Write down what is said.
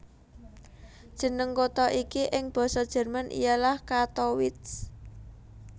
Jeneng kota iki ing Basa Jerman ialah Kattowitz